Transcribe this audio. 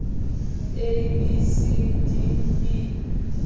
a b c d e